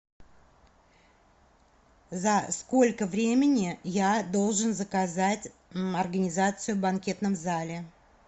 за сколько времени я должен заказать организацию в банкетном зале